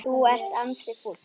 Þú ert ansi fúll.